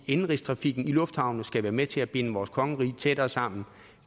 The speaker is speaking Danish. indenrigstrafikken i lufthavne skal være med til at binde vores kongerige tættere sammen